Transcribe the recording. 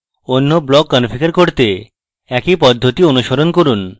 any block configure করতে একই পদ্ধতি অনুসরণ করুন